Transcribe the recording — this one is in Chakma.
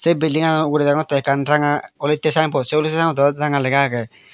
bildingano ugure degongotte ekkan ranga olotte sign bot sey olodi ganot o ranga lega agey.